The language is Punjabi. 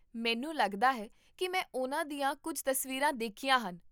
ਮੈਨੂੰ ਲੱਗਦਾ ਹੈ ਕੀ ਮੈਂ ਉਨ੍ਹਾਂ ਦੀਆਂ ਕੁੱਝ ਤਸਵੀਰਾਂ ਦੇਖੀਆਂ ਹਨ